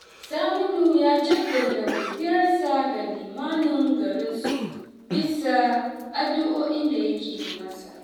Saminu ya jaddada godiyarsa ga limamin garinsu bisa addu’o’in da yake yi masa